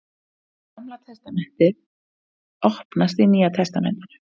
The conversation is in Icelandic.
Gamla testamentið opnast í Nýja testamentinu.